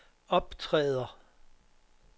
optræder